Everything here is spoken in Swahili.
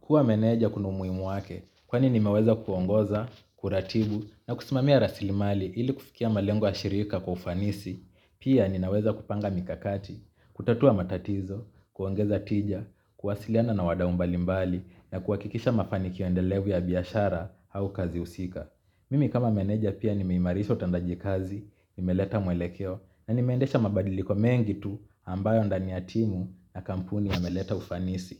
Kuwa meneja kuna umuhimu wake, kwani ni meweza kuongoza, kuratibu, na kusimamia rasili mali ili kufikia malengo ya shirika kwa ufanisi, pia ninaweza kupanga mikakati, kutatua matatizo, kuongeza tija, kuwasiliana na wadau mbalimbali, na kuwakikisha mafanikio endelevu ya biashara au kazi husika. Mimi kama meneja pia nimeimarisha utendaji kazi, nimeleta mwelekeo na nimendesha mabadiliko mengi tu ambayo ndani ya timu na kampuni yameleta ufanisi.